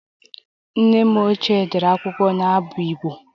Nne m ochie dere akwụkwọ n'abụ Igbo